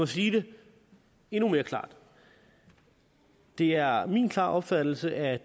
sige det endnu mere klart det er min klare opfattelse at